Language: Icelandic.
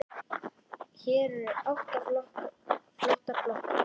Hér eru átta flottar blokkir.